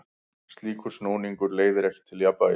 Slíkur snúningur leiðir ekki til jafnvægis.